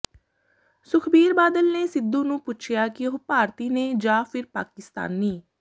ਸੁਖਬੀਰ ਬਾਦਲ ਨੇ ਸਿੱਧੂ ਨੂੰ ਪੁੱਛਿਆ ਕਿ ਉਹ ਭਾਰਤੀ ਨੇ ਜਾਂ ਫਿਰ ਪਾਕਿਸਤਾਨੀ